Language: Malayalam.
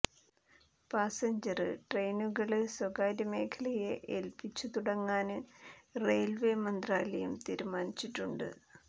പാസഞ്ചര് ട്രെയിനുകള് സ്വകാര്യ മേഖലയെ ഏല്പ്പിച്ചു തുടങ്ങാന് റെയില്വേ മന്ത്രാലയം തീരുമാനിച്ചിട്ടുണ്ട്